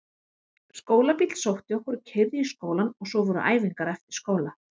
Skólabíll sótti okkur og keyrði í skólann og svo voru æfingar eftir skóla.